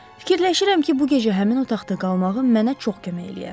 Fikirləşirəm ki, bu gecə həmin otaqda qalmağım mənə çox kömək eləyər.